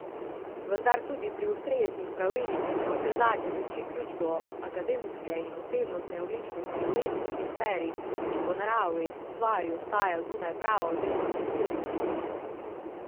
Vendar tudi pri ustreznih pravilnikih navsezadnje tiči ključ do akademske in osebnostne odličnosti v etični sferi, ki po naravi stvari ostaja zunaj prava oziroma prisilnih predpisov.